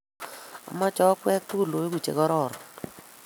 amoche okwek tugul oeku che kororon.